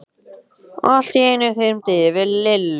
Allt í einu þyrmdi yfir Lillu.